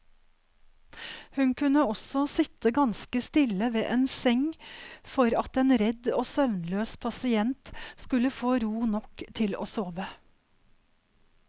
Hun kunne også sitte ganske stille ved en seng for at en redd og søvnløs pasient skulle få ro nok til å sove.